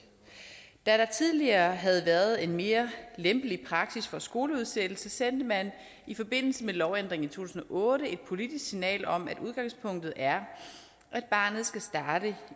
da der tidligere havde været en mere lempelig praksis for skoleudsættelse sendte man i forbindelse med lovændringen i to tusind og otte et politisk signal om at udgangspunktet er at barnet skal starte